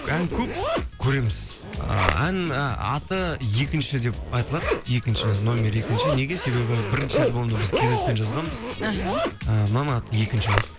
ән көп көреміз ыыы аты екінші деп аталады екінші номер екінші неге себебі бірінші альбомды біз кизетпен жазғанбыз іхі ііі мынаның аты екінші болады